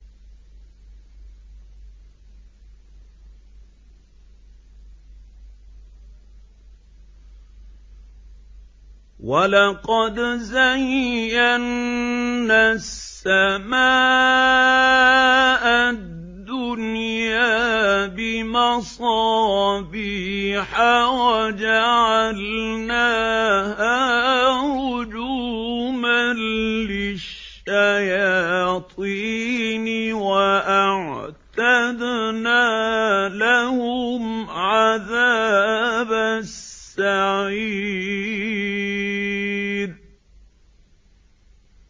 وَلَقَدْ زَيَّنَّا السَّمَاءَ الدُّنْيَا بِمَصَابِيحَ وَجَعَلْنَاهَا رُجُومًا لِّلشَّيَاطِينِ ۖ وَأَعْتَدْنَا لَهُمْ عَذَابَ السَّعِيرِ